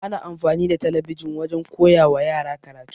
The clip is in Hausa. Ana amfani da talabijin wajen koyawa yara karatu.